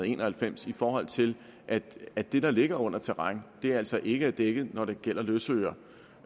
en og halvfems i forhold til at det der ligger under terræn altså ikke er dækket når det gælder løsøre